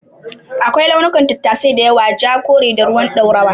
Akwai launukan tattasai da yawa; Ja, kore, da ruwan ɗorawa.